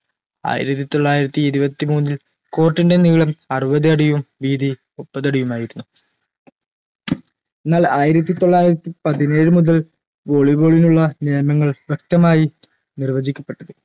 ആയിരത്തി തൊള്ളായിരത്തി ഇരുപത്തി മൂന്നിൽ court ൻറെ നീളം അറുപത് അടിയും വീതി മുപ്പതടിയുമായിരുന്നു ന്നാൽ ആയിരത്തി തൊള്ളായിരത്തി പതിനേഴ് മുതൽ volleyball നുള്ള നിയമങ്ങൾ ശക്തമായി നിർവചിക്കപ്പെട്ടിരുന്നു